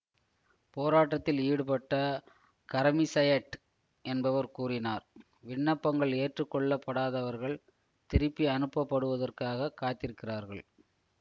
போராட்டத்தில் ஈடுபட்ட கரெமிசயெட் என்பவர் கூறினார் விண்ணப்பங்கள் ஏற்றுக்கொள்ளப்படாதவர்கள் திருப்பி அனுப்பப்படுவதற்காகக் காத்திருக்கிறார்கள்